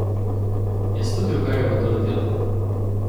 Je slutil, kaj ga bo doletelo?